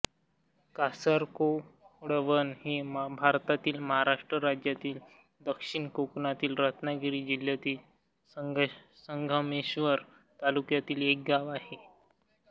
कासर कोळवण हे भारतातील महाराष्ट्र राज्यातील दक्षिण कोकणातील रत्नागिरी जिल्ह्यातील संगमेश्वर तालुक्यातील एक गाव आहे